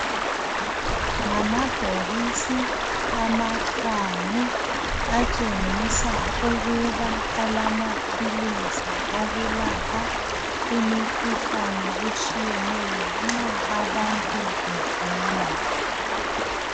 Ngamabhokisi amahlanu. Atshengisa ukuba alamaphilisi okulapha imikhuhlane etshiyeneyo, nxa abantu begula.